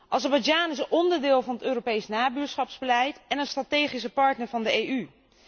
Azerbeidzjan is een onderdeel van het Europees nabuurschapsbeleid en een strategische partner van de EU.